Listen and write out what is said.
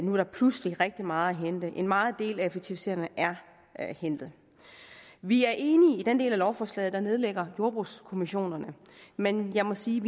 der pludselig rigtig meget at hente en meget stor del af effektiviseringerne er hentet vi er enige i den del af lovforslaget der nedlægger jordbrugskommissionerne men jeg må sige